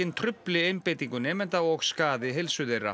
trufli einbeitingu nemenda og skaði heilsu þeirra